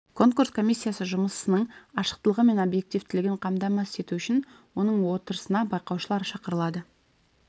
конкурс комиссиясы жұмысының ашықтылығы мен объективтілігін қамтамасыз ету үшін оның отырысына байқаушылар шақырылады